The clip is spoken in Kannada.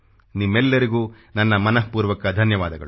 ನಿಮ್ಮೆಲ್ಲರಿಗೂ ನನ್ನ ಮನಃಪೂರ್ವಕ ಧನ್ಯವಾದಗಳು